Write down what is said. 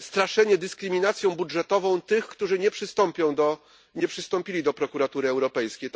straszenie dyskryminacją budżetową tych, którzy nie przystąpili do Prokuratury Europejskiej.